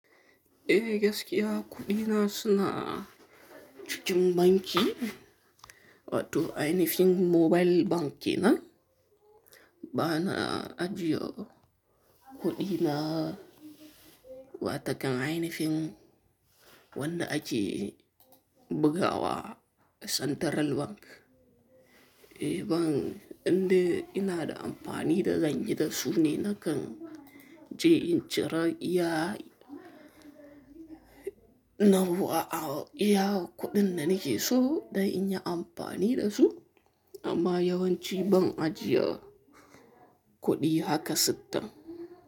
Eh gaskiya kuɗina suna cikin banki, wato ainihin mobile bankina. Ba na ajiye kuɗina wa takan ainifin wanda ake bugawa a Central Bank. Eh ban, indai ina da amfani da zan yida su ne na kan je in cire iya yawwa a iya kudin da nakeso zanyi amfani da su amma yawanci ban ajiye kuɗi haka sita.